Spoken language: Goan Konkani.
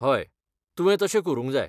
हय, तुवें तशें करूंक जाय.